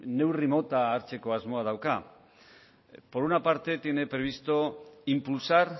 neurri mota hartzeko asmoa dauka por una parte tiene previsto impulsar